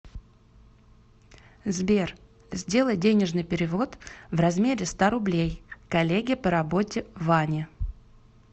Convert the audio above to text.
сбер сделай денежный перевод в размере ста рублей коллеге по работе ване